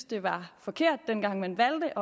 det var forkert dengang man valgte